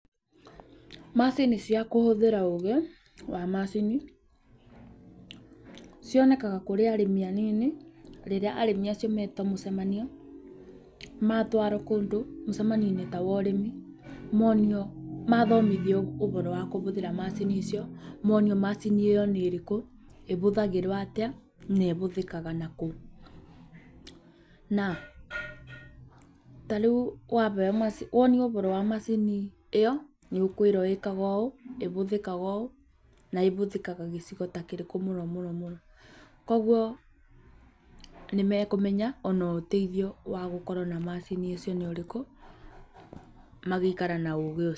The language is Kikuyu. Macini cia kũhũthĩra ũũgĩ wa macini, cionekaga kũrĩ arĩmi anini, rĩrĩa arĩmi acio metwo mĩcemanio matwarwo kũndũ, mũcemanio ta wa ũrĩmi, monio mathomithio ũhoro wa kũhũthĩra macini icio, monio macini ĩyo nĩ ĩrĩkũ, na ĩhũthagĩrwo atĩa, na ĩhũthĩkaga na kũ. Na ta rĩu wonio ũhoro wa macini ĩyo, nĩũkwĩrwo ĩkaga ũũ, ĩhũthĩkaga ũũ, na ĩhũthĩkaga gĩcigo ta kĩrĩkũ mũno mũno. Kogwo nĩ mekũmenya ona ũteithio wa gukorwo na macini icio nĩũrĩkũ, magaikara na ũgĩ ũcio.